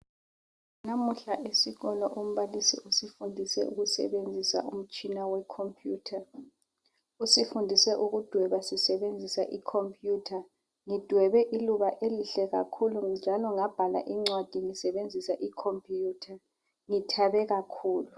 Namuhla esikolo umbalisi usifundise ukusebenzisa umtshina we computer. Usifundise ukudweba sisebenzisa I computer. Ngidwebe iluba elihle kakhulu njalo ngabhala incwadi ngisebenzisa I computer ngithabe kakhulu.